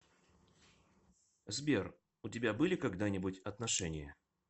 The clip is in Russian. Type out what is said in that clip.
сбер у тебя были когда нибудь отношения